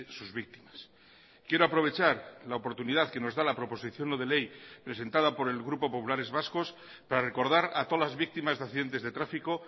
sus víctimas quiero aprovechar la oportunidad que nos da la proposición no de ley presentada por el grupo populares vascos para recordar a todas las víctimas de accidentes de tráfico